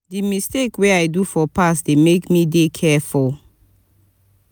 di mistakes wey i do for past dey make me dey careful.